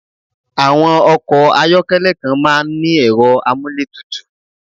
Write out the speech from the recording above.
Awọ́n Ọkọ̀ ayọ́kẹ́lẹ̀ kan máà ń ní ẹ̀rọ amúlétutù